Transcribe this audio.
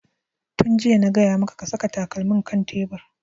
Tun jiya na gaya maka ka saka takalmin kan tebur!